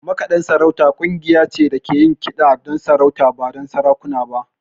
Makaɗan sarauta ƙungiya ce da ke yin kiɗa don sarauta, ba sarakuna ba.